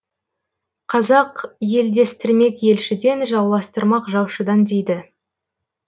қазақ елдестірмек елшіден жауластырмақ жаушыдан дейді